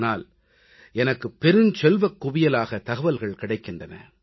ஆனால் எனக்கு பெருஞ்செல்வக் குவியலாக தகவல்கள் கிடைத்திருக்கின்றன